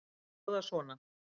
Þær hljóða svona: